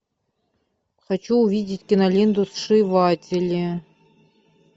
хочу увидеть киноленту сшиватели